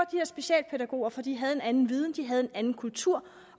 specialpædagoger for de havde en anden viden de havde en anden kultur